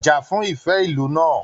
Já fún ìfẹ ìlú náà!